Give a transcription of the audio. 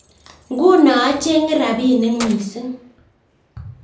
Nguno achenge rapinik mising